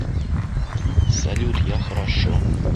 салют я хорошо